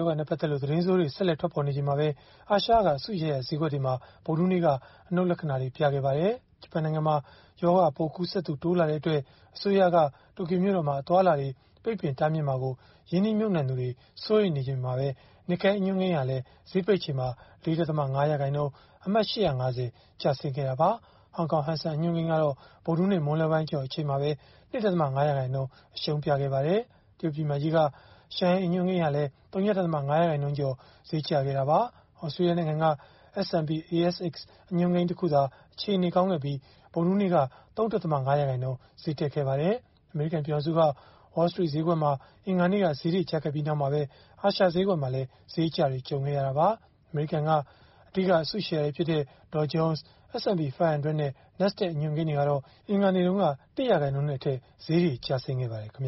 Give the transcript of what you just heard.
ောဂါနဲ့ ပတ်သက်လို့ သတင်းဆိုးတွေ ဆက်လက် ထွက်ပေါ်နေချိန်မှာပဲ အာရှက အစုရှယ်ယာ ဈေးကွက်တွေမှာ ဗုဒ္ဓဟူးနေ့က အနုတ်လက္ခဏာတွေ ပြခဲ့ပါတယ်။ ဂျပန်နိုင်ငံမှာ ရောဂါပိုးကူးစက်သူ တိုးလာတဲ့အတွက် အစိုးရက တိုကျိုမြို့တော်မှာ အသွားအလာတွေ ပိတ်ပင်တားမြစ်မှာကို ရင်းနှီးမြှုပ်နှံသူတွေ စိုးရိမ်နေချိန်မှာပဲ Nikkei အညွှန်းကိန်းဟာလည်း ဈေးပိတ်ချိန်မှာ ၄.၅ ရာခိုင်နှုန်း၊ အမှတ် ၈၅၀ ကျဆင်းခဲ့တာပါ။ ဟောင်ကောင် Hang Seng အညွှန်းကိန်းကတော့ ဗုဒ္ဓဟူးနေ့ မွန်းလွဲပိုင်းကျော် အချိန်မှာပဲ ၂.၅ ရာခိုင်နှုန်း အရှုံးပြခဲ့ပါတယ်။ တရုတ်ပြည်မကြီးက Shanghai အညွှန်းကိန်းဟာလည်း ဝ.၅ ရာခိုင်နှုန်းကျော် ဈေးကျခဲ့တာပါ။ သြစတြေးလျနိုင်ငံက S&P/ASX အညွှန်းကိန်း တခုသာ အခြေအနေကောင်းခဲ့ပြီး ဗုဒ္ဓဟူးနေ့က ၃.၅ ရာခိုင်နှုန်း ဈေးတက်ခဲ့ပါတယ်။ အမေရိကန် ပြည်ထောင်စုက Wall Street စတော့ခ်ဈေးကွက်မှာ အင်္ဂါနေ့က ဈေးတွေကျခဲ့ပြီးနောက်မှာပဲ အာရှဈေးကွက်မှာလည်း ဈေးအကျတွေ ကြုံခဲ့ရတာပါ။ အမေရိကန်က အဓိက အစုရှယ်ယာတွေဖြစ်တဲ့ Dow Jones, S&P 500 နဲ့ Nasdaq အညွှန်းကိန်းတွေကတော့ အင်္ဂါနေ့တုန်းက ၁ ရာခိုင်နှုန်းနဲ့အထက် ဈေးတွေ ကျဆင်းခဲ့ပါတယ်။ အင်္